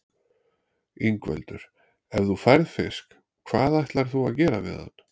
Ingveldur: Ef þú færð fisk, hvað ætlar þú að gera við hann?